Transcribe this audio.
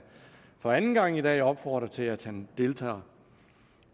for anden gang i dag opfordre til at han deltager